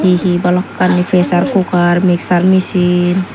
he he balokkani pressure cooker mixer micin